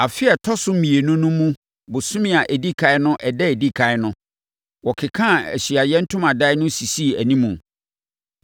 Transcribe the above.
Afe a ɛtɔ so mmienu no mu bosome a ɛdi ɛkan no ɛda a ɛdi ɛkan no, wɔkekaa Ahyiaeɛ Ntomadan no sisii animu.